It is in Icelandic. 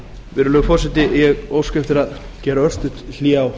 virðulegi forseti ég óska eftir að gera örstutt hlé á